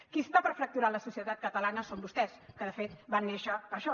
qui està per fracturar la societat catalana són vostès que de fet van néixer per això